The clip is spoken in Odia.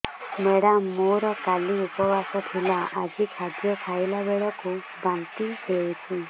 ମେଡ଼ାମ ମୋର କାଲି ଉପବାସ ଥିଲା ଆଜି ଖାଦ୍ୟ ଖାଇଲା ବେଳକୁ ବାନ୍ତି ହେଊଛି